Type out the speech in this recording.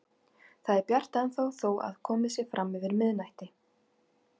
Það er bjart ennþá þó að komið sé fram yfir miðnætti.